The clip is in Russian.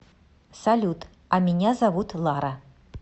салют а меня зовут лара